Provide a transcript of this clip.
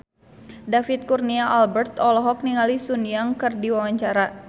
David Kurnia Albert olohok ningali Sun Yang keur diwawancara